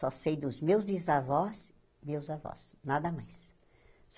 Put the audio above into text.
Só sei dos meus bisavós, meus avós, nada mais.